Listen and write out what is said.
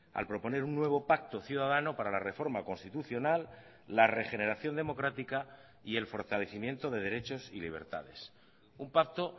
al proponer un nuevo pacto ciudadano para la reforma constitucional la regeneración democrática y el fortalecimiento de derechos y libertades un pacto